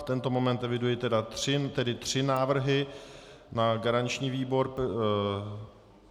V tento moment eviduji tedy tři návrhy na garanční výbor.